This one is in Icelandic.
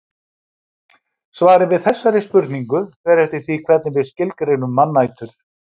Svarið við þessari spurningu fer eftir því hvernig við skilgreinum mannætur.